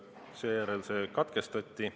Seejärel see katkestati.